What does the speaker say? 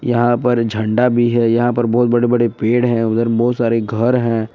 यहां पर झंडा भी है यहां पर बहुत बड़े बड़े पेड़ है उधर बहोत सारे घर हैं।